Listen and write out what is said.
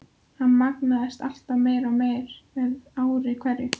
Hann magnaðist alltaf meir og meir með ári hverju.